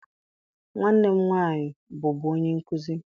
Nwanne m nwaanyị bụbu onye nkuzi.